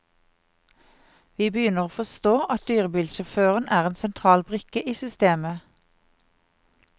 Vi begynner å forstå at dyrebilsjåføren er en sentral brikke i systemet.